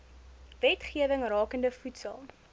wetgewing rakende voedsel